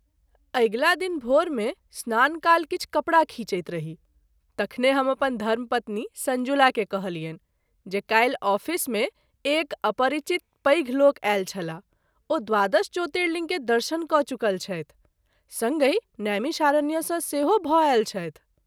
अगिला दिन भोर मे स्नान काल किछु कपड़ा खीचैत रही , तखने हम अपन धर्म पत्नी संजुला के कहलियनि जे काल्हि आफिस मे एक अपरिचित पैघ लोक आयल छलाह ओ द्वादश ज्योतिर्लिंग के दर्शन क’ चुकल छथि, संगहि नैमिषारण्य स’ सेहो भ’ आयल छथि।